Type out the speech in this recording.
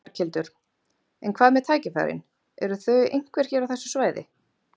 Berghildur: En hvað með tækifærin, eru þau einhver hér á þessu svæði?